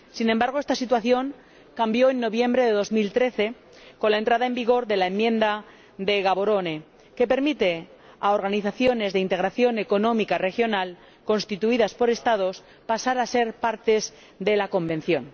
Sin embargo, esta situación cambió en noviembre de 2013, con la entrada en vigor de la enmienda de Gaborone, que permite a organizaciones de integración económica regional constituidas por Estados pasar a ser partes de la Convención.